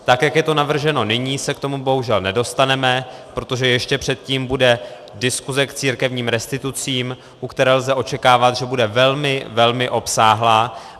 Tak jak je to navrženo nyní, se k tomu bohužel nedostaneme, protože ještě předtím bude diskuse k církevním restitucím, u které lze očekávat, že bude velmi velmi obsáhlá.